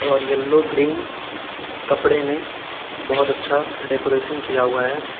और yellow green कपड़े में बहोत अच्छा डेकोरेशन किया हुआ है।